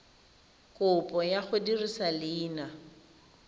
kopo ya go dirisa leina